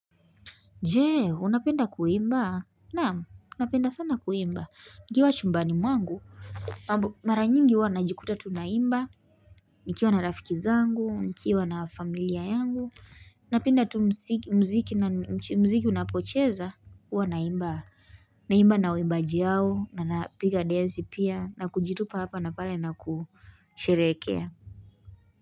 Je, unapenda kuimba? Naam, napenda sana kuimba nikiwa chumbani mwangu mara nyingi huwa najikuta tu naimba nikiwa na rafiki zangu nikiwa na familia yangu napenda tu muziki na muziki unapocheza huwa naimba naimba na waimbaji hao na napiga densi pia na kujitupa hapa na pale na kusherehekea.